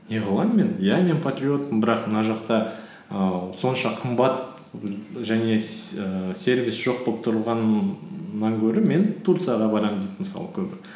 не қылам мен иә мен патриотпын бірақ мына жақта ііі сонша қымбат және ііі сервис жоқ болып тұрғаннан гөрі мен турцияға барамын дейді мысалы көбі